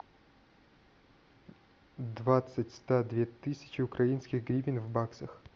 двадцать ста две тысячи украинских гривен в баксах